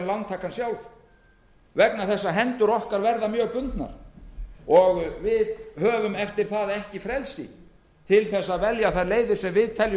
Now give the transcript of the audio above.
en lántakan sjálf vegna þess að hendur okkar verða mjög bundnar við höfum eftir það ekki frelsi til að velja þær leiðir sem við teljum